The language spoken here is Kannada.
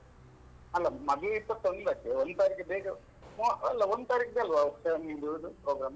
ಅಲ್ಲ ಮದುವೆ ಇಪ್ಪತ್ತೊಂದಕ್ಕೆ ಒಂದ್ ತಾರೀಖಿಗೆ ಬೇಗ ಅಲ್ಲ ಒಂದ್ ತಾರೀಖಿಗೆ ಅಲ್ವಾ ನಿಮ್ದು ಇದು program ?